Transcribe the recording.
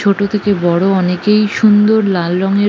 ছোট থেকে বড় অনেকেই সুন্দর লাল রঙের --